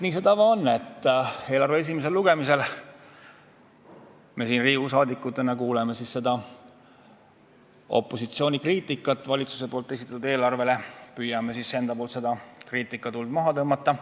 Nii see tava on, et eelarve esimesel lugemisel me siin Riigikogu liikmetena kuuleme opositsiooni kriitikat valitsuse esitatud eelarve kohta ja püüame omalt poolt seda kriitikatuld maha tõmmata.